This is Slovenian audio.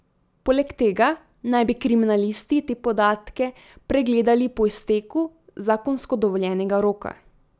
Poleg tega naj bi kriminalisti te podatke pregledali po izteku zakonsko dovoljenega roka.